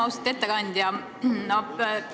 Austatud ettekandja!